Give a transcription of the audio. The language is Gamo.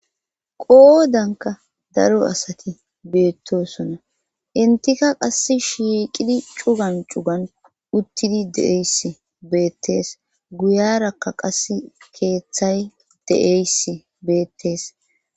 Qoodanka daro asati beettosona intika qass shiiqidi cugan cugan uttidi deeys beettees guyarakka qas keeththay de7eys beettees.